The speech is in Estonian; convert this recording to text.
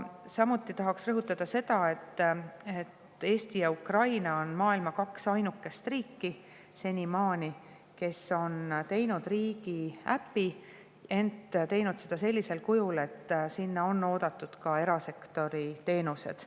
Samuti tahaksin rõhutada seda, et Eesti ja Ukraina on senimaani maailmas kaks ainukest riiki, kes on teinud riigiäpi, ja teinud seda sellisel kujul, et sinna on oodatud ka erasektori teenused.